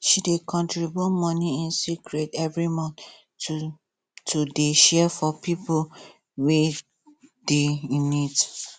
she dey contribute money in secret every month to to dey share for pipo wey dey in need